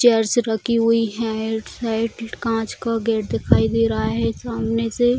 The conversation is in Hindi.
चेयर्स रखी हुई है इस साइड कांच का गेट दिखाई दे रहा है सामने से --